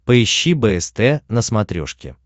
поищи бст на смотрешке